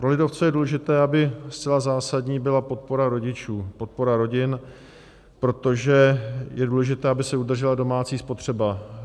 Pro lidovce je důležité, aby zcela zásadní byla podpora rodičů, podpora rodin, protože je důležité, aby se udržela domácí spotřeba.